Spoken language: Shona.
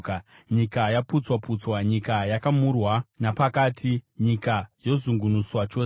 Nyika yaputswa-putswa, nyika yakamurwa napakati, nyika yozungunuswa chose.